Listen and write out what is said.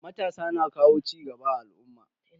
Matasa na kawo cigaba a al'umma.